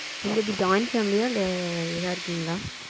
நீங்க எப்டி join family அ இல்ல இத இருக்கிங்களா?